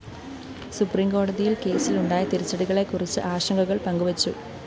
സുപ്രീംകോടതിയില്‍ കേസിലുണ്ടായ തിരിച്ചടികളെക്കുറിച്ച് ആശങ്കകള്‍ പങ്കു വച്ചു